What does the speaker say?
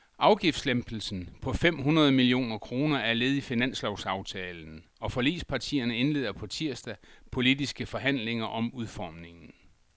Afgiftslempelsen på fem hundrede millioner kroner er led i finanslovsaftalen, og forligspartierne indleder på tirsdag politiske forhandlinger om udformningen.